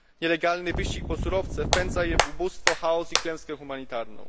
Nielegalny wyścig po surowce wpędza je w ubóstwo, chaos i klęskę humanitarną.